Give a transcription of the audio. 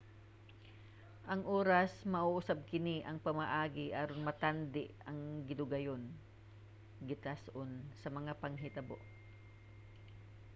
ang oras mao usab kini ang pamaagi aron matandi ang gidugayon gitas-on sa mga panghitabo